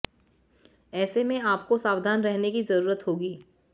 ऐसे में आपको सावधान रहने की ज़रूरत होगी